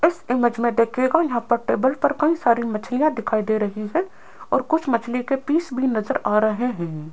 इस इमेज मे देखिएगा यहां पर टेबल पर कई सारी मछलियां दिखाई दे रही है और कुछ मछली के पीस भी नज़र आ रहे है।